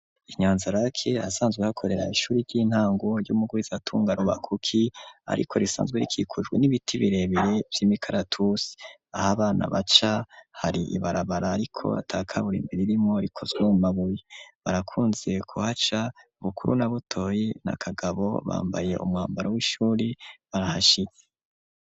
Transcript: Inyanzarake, ahasanzwe hakorera, ishuri ry'intango, ry'umugwizatunga Rubakuki, ariko, risanzwe rikikujwe, n'ibiti birebere, vy'imikaratusi; aho abana baca, hari ibarabara, ariko ata kaburimbi ririmwo, rikozwe mu mabuye; barakunze kuhaca, Bukuru na Butoyi na Kagabo, bambaye umwambaro w'ishuri, barahashitse.